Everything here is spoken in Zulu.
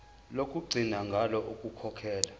lokugcina ngalo ukukhokhela